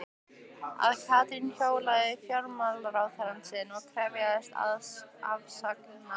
Að Katrín hjólaði í fjármálaráðherrann sinn og krefðist afsagnar hans?